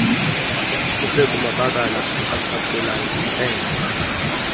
lusekumabakala asakhulayo isende